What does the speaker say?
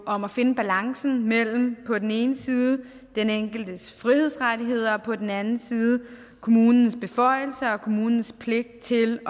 om at finde balancen mellem på den ende side den enkeltes frihedsrettigheder og på den anden side kommunens beføjelser og kommunens pligt til